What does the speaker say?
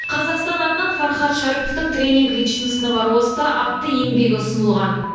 қазақстан атынан фархат шәріповтың тренинг личностного роста атты еңбегі ұсынылған